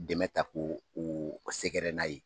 Dɛmɛ ta ko u sɛgɛrɛ n'a ye